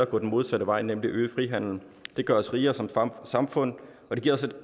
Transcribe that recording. gå den modsatte vej nemlig øget frihandel det gør os rigere som samfund og det giver os